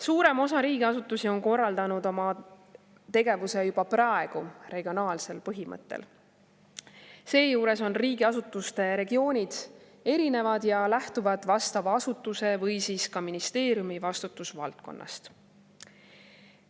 Suurem osa riigiasutusi on korraldanud oma tegevuse juba praegu regionaalsel põhimõttel, seejuures on riigiasutuste regioonid erinevad ja lähtuvad vastava asutuse või ministeeriumi vastutusvaldkonnast.